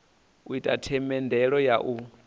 u ita themendelo ya u